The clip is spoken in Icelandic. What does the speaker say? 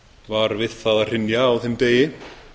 var við það að hrynja á þeim degi